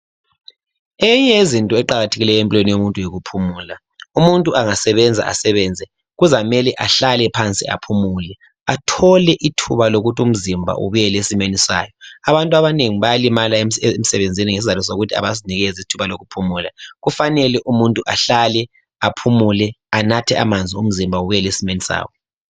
eyinye yezinto eqakthekileyo empilweni yomuntu yikuphumula umuntu angasebenza asebenze kuzamela ahlale phansi aphumule athole ithuba lokuthi umzimba ubuyele esimeni sawo abantu abanengi bayalimala emsebenzini ngezizatho zokuthi abazinikezi ithuba lokuphumula kufanele umuntu ahlale aphumule umzimba ubuyele esimeni sawo